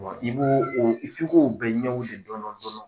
Wa i b'o f'i k'o bɛ ɲɛw de dɔɔnin dɔɔnin